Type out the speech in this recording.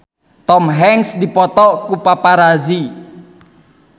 Tom Hanks dipoto ku paparazi